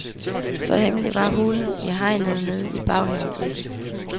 Så hemmelig var hulen i hegnet nede i baghaven ikke.